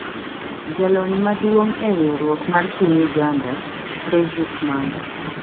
Jalony maduong' e riwruok mar Piny Uganda, Fredrick Manga